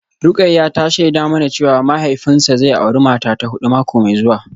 Rukayyah ta shaida mana cewa mahaifinsa zai auri mata ta hudu mako mai zuwa